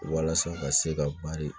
Walasa ka se ka bari